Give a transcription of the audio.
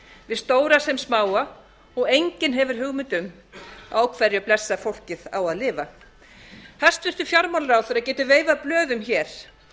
við stóra sem smáa og enginn hefur hugmynd um á hverju blessað fólkið á að lifa hæstvirtur fjármálaráðherra getur veifað blöðum hér